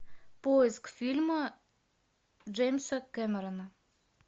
поиск фильма джеймса кэмерона